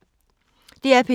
DR P2